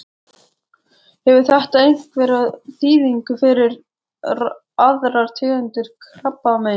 Hefur þetta einhverja þýðingu fyrir aðrar tegundir krabbameins?